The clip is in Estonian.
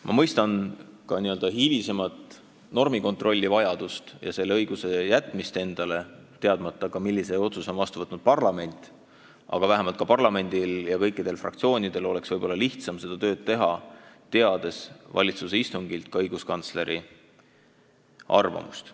Ma mõistan ka n-ö hilisemat normikontrolli vajadust ja selle õiguse jätmist endale, teadmata ka, millise otsuse on vastu võtnud parlament, aga parlamendil ja kõikidel fraktsioonidel oleks lihtsam oma tööd teha, teades valitsuse istungilt ka õiguskantsleri arvamust.